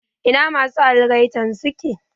Ina masu algaitan suke?